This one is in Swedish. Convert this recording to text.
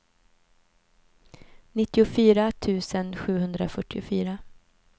nittiofyra tusen sjuhundrafyrtiofyra